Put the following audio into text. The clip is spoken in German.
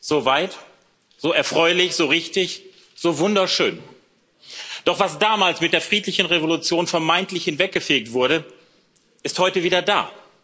So weit, so erfreulich, so richtig, so wunderschön! Doch was damals mit der friedlichen Revolution vermeintlich hinweggefegt wurde, ist heute wieder da.